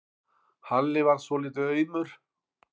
Halli varð svolítið aumur.